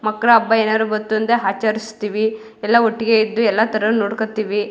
ಮಕ್ಕಳ ಹಬ್ಬ ಏನಾದ್ರು ಬಂತು ಅಂದ್ರೆ ಆಚರಿಸ್ತಿವಿ ಎಲ್ಲ ಒಟ್ಟಿಗೆ ಇದ್ದು ಎಲ್ಲ ತರನು ನೋಡ್ಕೋತೀವಿ.